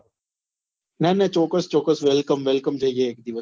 ના ના ચોક્કસ ચોક્કસ welcome welcome જઈએ એક દિવસ